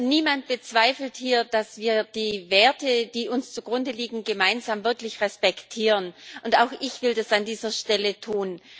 Niemand bezweifelt hier, dass wir die Werte, die uns zugrunde liegen, gemeinsam wirklich respektieren, und auch ich will das an dieser Stelle tun.